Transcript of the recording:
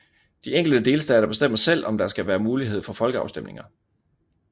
De enkelte delstater bestemmer selv om der skal være mulighed for folkeafstemninger